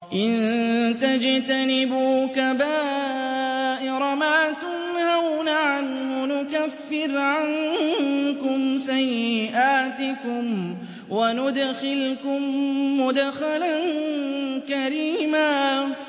إِن تَجْتَنِبُوا كَبَائِرَ مَا تُنْهَوْنَ عَنْهُ نُكَفِّرْ عَنكُمْ سَيِّئَاتِكُمْ وَنُدْخِلْكُم مُّدْخَلًا كَرِيمًا